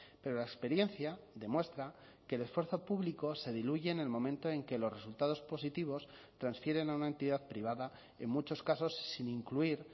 pero la experiencia demuestra que el esfuerzo público se diluye en el momento en que los resultados positivos transfieren a una entidad privada en muchos casos sin incluir